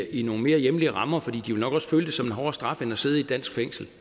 i nogle mere hjemlige rammer for de vil nok også føle det som en hårdere straf end at sidde i et dansk fængsel